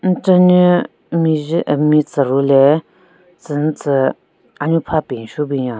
Nchenyu mejhe metsero le tsü nyu tsü anyu pha penshu binyon.